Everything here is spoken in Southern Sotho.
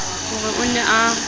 ho re o ne a